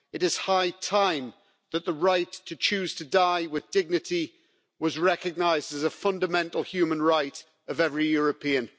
It is high time that the right to choose to die with dignity was recognised as a fundamental human right of every European.